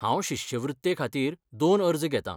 हांव शिश्यवृत्तेखातीर दोन अर्ज घेतां.